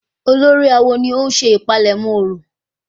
Olórí awo ni ó ń ṣe ìpalẹ̀mọ́ orò?